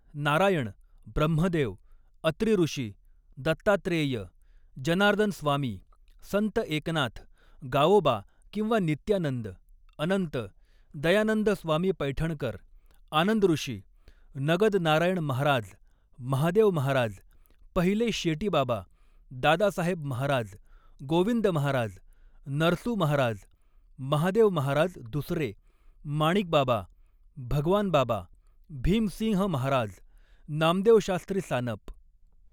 नारायण, ब्रह्मदेव, अत्री ऋषी, दत्तात्रेय, जनार्दनस्वामी, संत एकनाथ, गावोबा किंवा नित्यानंद, अनंत, दयानंद स्वामी पैठणकर, आनंदॠषी, नगदनारायण महाराज, महादेव महाराज, पहिले शेटीबाबा, दादासाहेब महाराज, गोविंद महाराज, नरसू महाराज, महादेव महाराज दुसरे, माणिकबाबा, भगवानबाबा, भीमसिंह महाराज, नामदेवशास्त्री सानप